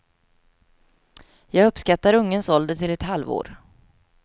Jag uppskattar ungens ålder till ett halvår.